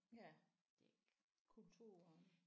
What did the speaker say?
Ja kulturen